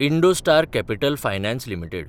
Indostar capital finance limited